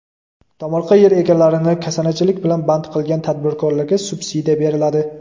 Tomorqa yer egalarini kasanachilik bilan band qilgan tadbirkorlarga subsidiya beriladi.